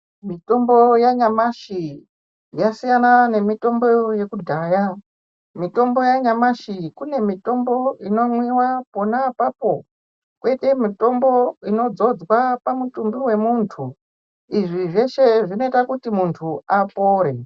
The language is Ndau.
Mitombo yanyamashi yasiyana nemitombo yekudhaya. Mitombo yanyamashi kune mitombo inomwiwa pona apapo poite mitombo inodzodzwa oamutumbi wemuntu. Izvi zveshe zvinoita kuti muntu apore.